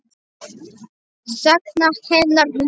Sakna hennar líka.